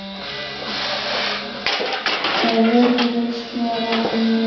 Svarið virðist vera nei.